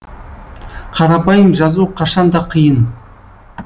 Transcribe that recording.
қарапайым жазу қашан да қиын